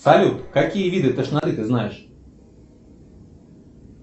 салют какие виды тошноты ты знаешь